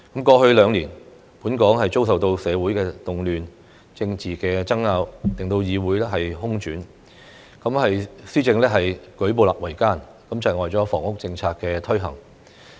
過去兩年本港遭受社會動亂、政治爭拗，令議會空轉，施政舉步維艱，窒礙了房屋政策的推行。